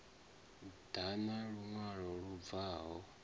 ḓa na luṅwalo lu bvaho